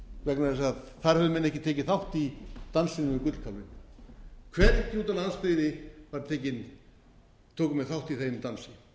vegna þess að þar höfðu menn ekki tekið þátt í dansinum um gullkálfinn hvergi úti á landsbyggðinni tóku menn þátt í þeim dansi